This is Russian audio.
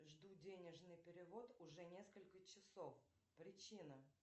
жду денежный перевод уже несколько часов причина